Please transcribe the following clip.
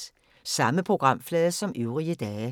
Samme programflade som øvrige dage